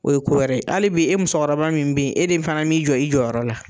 O ye ko wɛrɛ ye ali bi e musokɔrɔba min bɛ yen e de fana min jɔ i jɔyɔrɔ la.